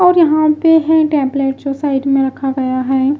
और यहां पे हैं टैबलेट जो साइड में रखा गया है।